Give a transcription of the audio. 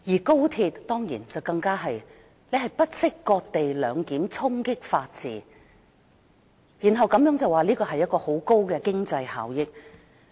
高鐵方面，政府更是不惜"割地兩檢"，衝擊法治，然後推說這安排能帶來很大的經濟效益。